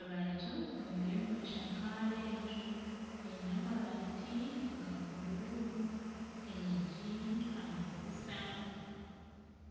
Abantu bariyo nibashakaara enju Eine amabaati aga buru enyigi amadirisa